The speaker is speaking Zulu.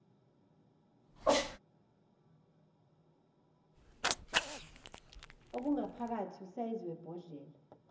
okungaphakathi usayizi webhodlela